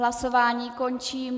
Hlasování končím.